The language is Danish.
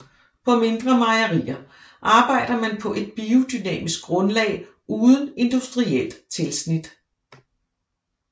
På mindre mejerier arbejder man på et biodynamisk grundlag uden industrielt tilsnit